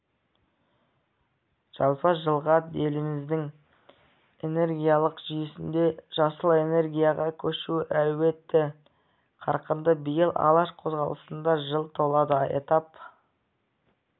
жалпы жылға еліміздің энергетикалық жүйесінде жасыл энергияға көшу әлеуеті қарқынды биыл алаш қозғалысына жыл толады атап